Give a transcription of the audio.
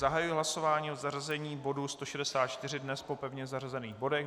Zahajuji hlasování o zařazení bodu 164 dnes po pevně zařazených bodech.